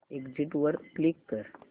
exit वर click कर